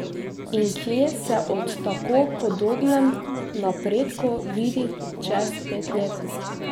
In kje se ob tako podobnem napredku vidi čez pet let?